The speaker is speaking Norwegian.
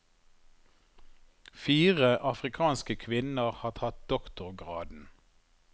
Fire afrikanske kvinner har tatt doktorgraden.